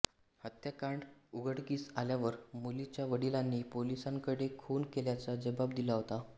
हत्याकांड उघडकीस आल्यावर मुलीच्या वडिलांनी पोलिसांकडे खून केल्याचा जबाब दिला होता